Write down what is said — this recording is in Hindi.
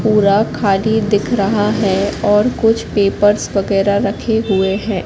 पूरा खाली दिख रहा है और कुछ पेपर्स वगैरा रखे हुए हैं।